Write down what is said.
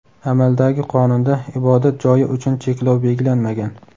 amaldagi qonunda ibodat joyi uchun cheklov belgilanmagan.